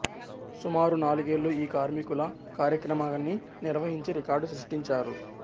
సుమారు నాలుగేళ్లు ఈ కార్మికుల కార్యక్రమాన్ని నిర్వహించి రికార్డు సృష్టించారు